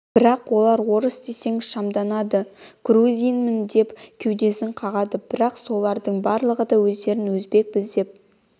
бірақ олар орыс десең шамданады грузинмін деп кеудесін қағады бірақ солардың барлығы да өздерін өзбекпіз деп